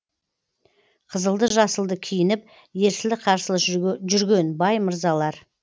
қызылды жасылды киініп ерсілі қарсылы жүрген бай мырзалар